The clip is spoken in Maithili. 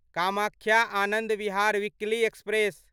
Kamakhya Anand Vihar weekly express